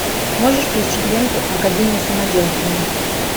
можешь включить ленту академия самоделкина